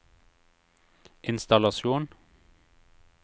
innstallasjon